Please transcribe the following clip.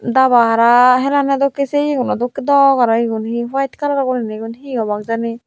daba hara helanney dokkey se iye guno dok dok aro igun he howite kalar guriney igun he obak jani.